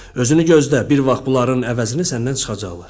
Özünü gözlə, bir vaxt bunların əvəzini səndən çıxacaqlar.